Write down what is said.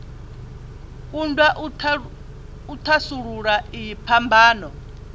kundwa u thasulula iyi phambano